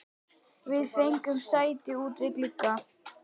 Við fengum sæti út við glugga.